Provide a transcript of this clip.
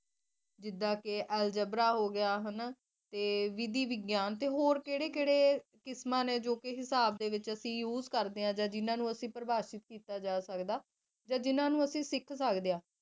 ਜਿੱਡਾ ਕ ਐਲਜੈਬਰਾ ਹੋਗਿਆ ਕ ਆ ਕੈਰੇ ਵਿਧੀ ਵਿਗਿਆਨ ਤੇ ਹੋਰ ਕਿਹੜੇ-ਕਿਹੜੇ ਕਿਸਮਾਂ ਲੇਖ ਕਿਸਮਾਂ ਹਿਸਾਬ ਪੀਉਸ ਕਰਦੇ ਜਾ ਜਿਹਨਾਂ ਨੂੰ ਪ੍ਰਭਾਵਿਤ ਕੀਤਾ ਜਾ ਸਕਦਾ ਜਾ ਜਿਨ੍ਹਾਂ ਨੂੰ ਅਤੇ ਸਿੱਖ ਸਕਦੇ ਹੋ